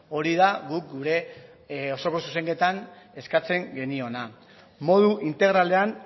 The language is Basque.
hori da guk gure osoko zuzenketan eskatzen geniona modu integralean